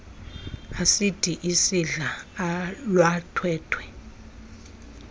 asidi isidla ulwantwentwe